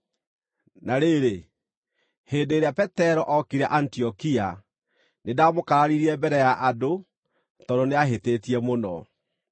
Na rĩrĩ, hĩndĩ ĩrĩa Petero ookire Antiokia, nĩndamũkararirie mbere ya andũ tondũ nĩahĩtĩtie mũno.